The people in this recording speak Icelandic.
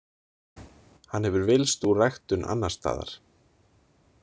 Hann hefur villst úr ræktun annarsstaðar.